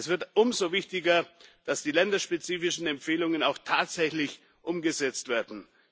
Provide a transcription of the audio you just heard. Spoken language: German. Es wird umso wichtiger, dass die länderspezifischen Empfehlungen auch tatsächlich umgesetzt werden.